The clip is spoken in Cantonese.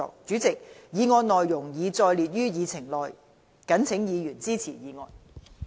主席，議案內容已載列於議程內。謹請議員支持議案。